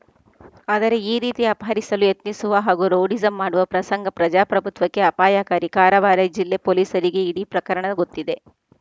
ಆದರೆ ಈ ರೀತಿ ಅಪಹರಿಸಲು ಯತ್ನಿಸುವ ಹಾಗೂ ರೌಡಿಸಂ ಮಾಡುವ ಪ್ರಸಂಗ ಪ್ರಜಾಪ್ರಭುತ್ವಕ್ಕೆ ಅಪಾಯಕಾರಿ ಕಾರವಾರ ಜಿಲ್ಲೆ ಪೊಲೀಸರಿಗೆ ಇಡೀ ಪ್ರಕರಣ ಗೊತ್ತಿದೆ